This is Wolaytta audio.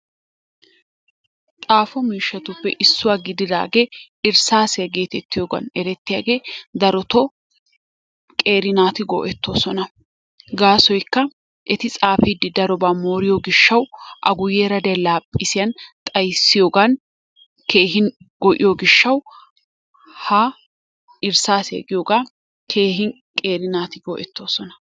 Xaafo miishshatuppe issuwa gididaage irssaasiyan geetettiyogan erettiyage darotoo qeeri naati go'ettoosona. Gaasoykka eti xaafiiddi darobaa mooriyo gishshawu a guyyeera diya laaphphisiyan xayissiyogan keehi go'iyo gishshawu ha irssaasiya giyogaa keehin qeeri naati go'ettoosona.